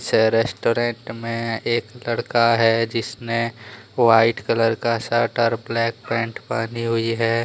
पीछे रेस्टोरेंट में एक लड़का है जिसने व्हाइट कलर का शर्ट और ब्लैक पैंट पहनी हुई है।